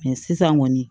sisan kɔni